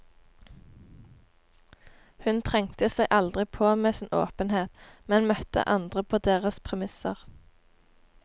Hun trengte seg aldri på med sin åpenhet, men møtte andre på deres premisser.